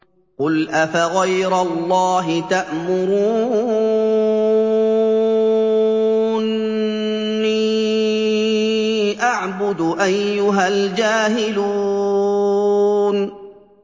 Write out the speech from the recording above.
قُلْ أَفَغَيْرَ اللَّهِ تَأْمُرُونِّي أَعْبُدُ أَيُّهَا الْجَاهِلُونَ